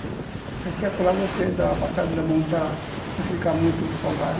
Daqui a pouco você dá uma passada na mão para não ficar muito folgado.